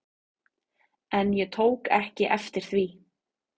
En ég tók ekki eftir því.